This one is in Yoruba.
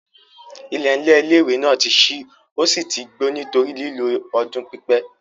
IIẹ̀nlẹ̀ ilé-ìwé náà ti n ṣí ó sì tí n gbó nítorí lílò ọdún pípẹ́